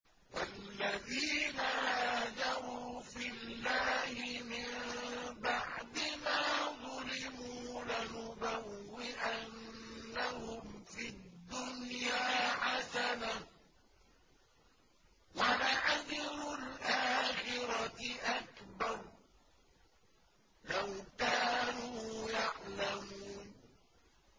وَالَّذِينَ هَاجَرُوا فِي اللَّهِ مِن بَعْدِ مَا ظُلِمُوا لَنُبَوِّئَنَّهُمْ فِي الدُّنْيَا حَسَنَةً ۖ وَلَأَجْرُ الْآخِرَةِ أَكْبَرُ ۚ لَوْ كَانُوا يَعْلَمُونَ